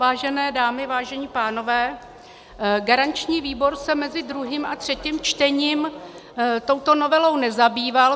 Vážené dámy, vážení pánové, garanční výbor se mezi druhým a třetím čtením touto novelou nezabýval.